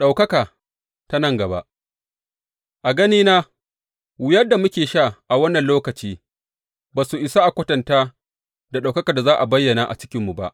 Ɗaukaka ta nan gaba A ganina, wuyar da muke sha a wannan lokaci ba su isa a kwatanta da ɗaukakar da za a bayyana a cikinmu ba.